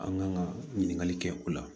An kan ka ɲininkali kɛ o la